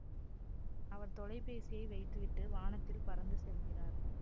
அவர் தொலைபேசியை வைத்துவிட்டு வானத்தில் பறந்துசெல்கிறார்